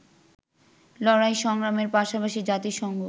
লড়াই সংগ্রামের পাশাপাশি জাতিসংঘ